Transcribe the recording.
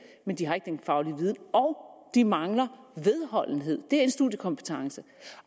men de har ikke den faglige viden og de mangler vedholdenhed det er en studiekompetence